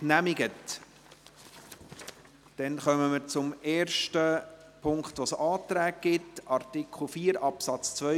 Wir kommen zum ersten Punkt mit Anträgen: zu Artikel 4 Absatz 2